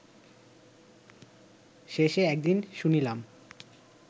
শেষে, একদিন শুনিলাম